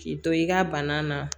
K'i to i ka bana na